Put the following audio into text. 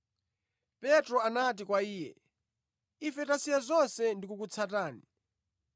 Petro anati kwa Iye, “Ife tasiya zonse ndi kukutsatani!”